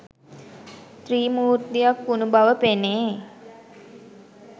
ත්‍රිමූර්තියක් වුණු බව පෙනේ.